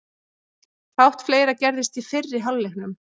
Fátt fleira gerðist í fyrri hálfleiknum.